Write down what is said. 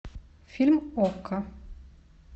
фильм окко